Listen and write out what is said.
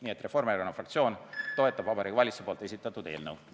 Nii et Reformierakonna fraktsioon toetab Vabariigi Valitsuse esitatud eelnõu.